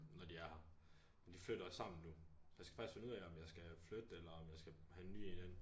Når de er her men de flytter også sammen nu så jeg skal faktisk finde ud af om jeg skal flytte eller om jeg skal have en ny en ind